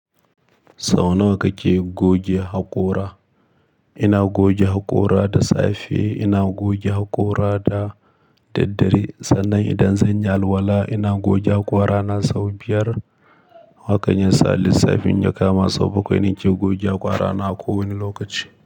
Sau nawa kake goge haƙora? Ina goge haƙora da safe, ina goge haƙora da daddare. Sannan idan zan yi alwala ina goge haƙora na sau biyar. Hakan yasa lissafin ya ka ma sau bakwai nake goge haƙora na a kowane lokaci.